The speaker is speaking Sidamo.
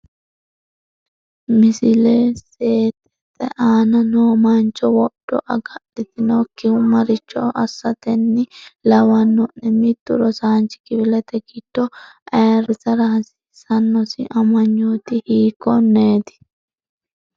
Misle seetete aana noo mancho wodho agadhitinokkihu maricho assaten- ni lawanno’ne? Mittu rosaanchi kifilete giddo ayirrisara hasiisannosi amanyooti hiik- konneeti?